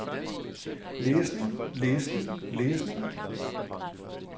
læsning læsning læsning